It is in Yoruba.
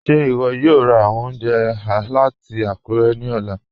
Ṣe iwọ yòò rá awọn ọ̀unjẹ̀ lati Akure ni ọlà?